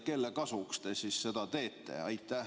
Kelle kasuks te seda teete?